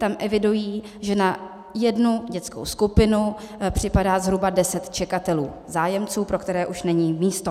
Tam evidují, že na jednu dětskou skupinu připadá zhruba deset čekatelů, zájemců, pro které už není místo.